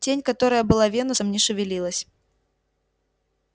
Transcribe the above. тень которая была венусом не шевелилась